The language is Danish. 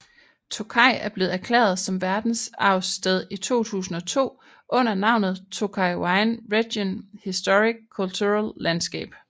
Tokaj er blevet erklæret som verdensarvssted i 2002 under navnet Tokaj Wine Region Historic Cultural Landscape